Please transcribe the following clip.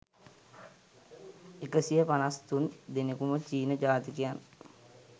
එකසිය පනස් තුන් දෙනෙකුම චීන ජාතිකයන්.